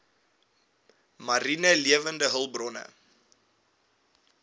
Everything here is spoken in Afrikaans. mariene lewende hulpbronne